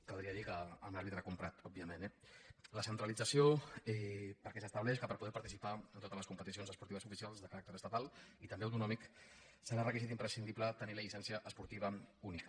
caldria dir que amb l’àrbitre comprat òbviament eh la centralització perquè s’estableix que per poder par·ticipar en totes les competicions esportives oficials de caràcter estatal i també autonòmic serà requisit im·prescindible tenir la llicència esportiva única